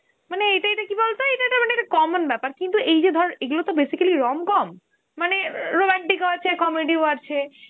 মানে এটা কি বলতো, এটা এটা মানে common ব্যাপার, কিন্তু এই যে ধর এইগুলোত বেশির ভাগই rom-com, মানে romantic ও আছে, comedy ও আছে.